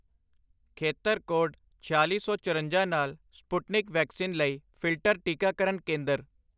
ਖੇਤਰ ਕੋਡ ਛਿਆਲੀ ਸੌ, ਚੌਰੰਜਾ ਨਾਲ ਸਪੁਟਨਿਕ ਵੈਕਸੀਨ ਲਈ ਫਿਲਟਰ ਟੀਕਾਕਰਨ ਕੇਂਦਰ